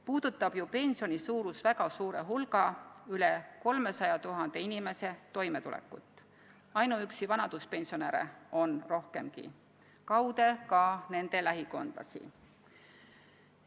Puudutab ju pensioni suurus väga suure hulga, üle 300 000 inimese toimetulekut – ainuüksi vanaduspensionäre on rohkemgi – ja kaude puudutab see ka nende lähikondlasi.